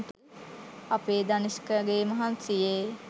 අපේ දනිෂ්කගේ මහන්සියේ